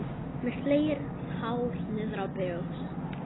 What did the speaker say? Með slegið hár niðrá brjóst.